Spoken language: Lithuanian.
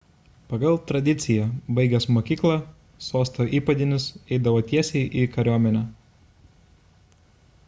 pagal tradiciją baigęs mokyką sosto įpėdinis eidavo tiesiai į kariuomenę